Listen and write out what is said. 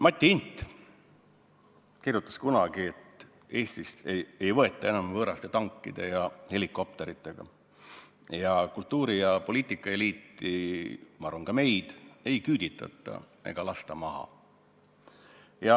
Mati Hint kirjutas kunagi, et Eestit ei võeta enam võõraste tankide ja helikopteritega ning et kultuuri- ja poliitikaeliiti – ma arvan, ka meid – ei küüditata ega lasta maha.